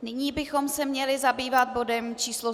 Nyní bychom se měli zabývat bodem číslo